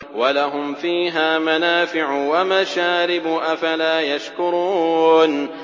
وَلَهُمْ فِيهَا مَنَافِعُ وَمَشَارِبُ ۖ أَفَلَا يَشْكُرُونَ